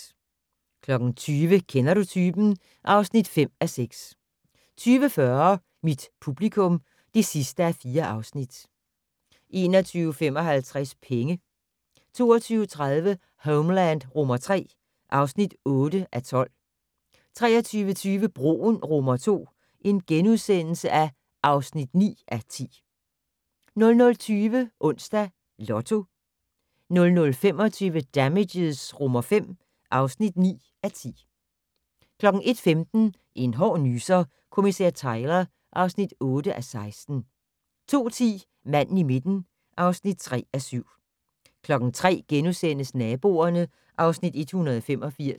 20:00: Kender du typen? (5:6) 20:40: Mit publikum (4:4) 21:55: Penge 22:30: Homeland III (8:12) 23:20: Broen II (9:10)* 00:20: Onsdags Lotto 00:25: Damages V (9:10) 01:15: En hård nyser: Kommissær Tyler (8:16) 02:10: Manden i midten (3:7) 03:00: Naboerne (Afs. 185)*